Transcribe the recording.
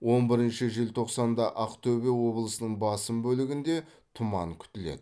он бірінші желтоқсанда ақтөбе облысының басым бөлігінде тұман күтіледі